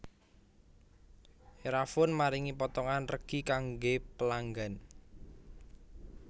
Erafone maringi potongan regi kangge pelanggan